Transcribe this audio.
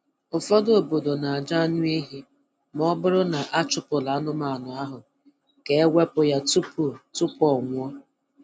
Ụfọdụ obodo na-ajụ anụ ehi ma ọ bụrụ na a chụpụrụ anụmanụ ahụ ka e wepụ ya tupu tupu ọ ọnwụ